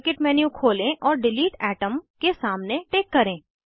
model kit menu खोलें और delete atom के सामने टिक करें